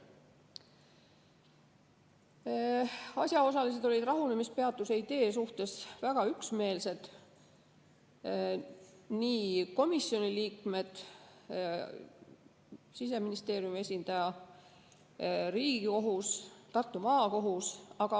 Asjaosalised olid rahunemispeatuse idee suhtes väga üksmeelsed: komisjoni liikmed, Siseministeeriumi esindaja, Riigikohus, Tartu Maakohus.